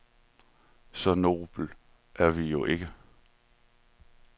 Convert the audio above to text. Så noble er vi jo ikke.